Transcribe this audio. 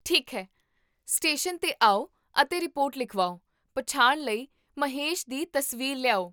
ਠੀਕ ਹੈ, ਸਟੇਸ਼ਨ 'ਤੇ ਆਓ ਅਤੇ ਰਿਪੋਰਟ ਲਿਖਵਾਓ, ਪਛਾਣ ਲਈ ਮਹੇਸ਼ ਦੀ ਤਸਵੀਰ ਲਿਆਓ